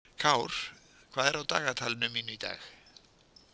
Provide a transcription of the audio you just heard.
Kár, hvað er á dagatalinu mínu í dag?